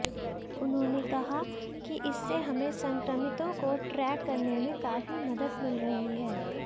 उन्होंने कहा कि इससे हमें संक्रमितों को ट्रैक करने में काफी मदद मिल रही है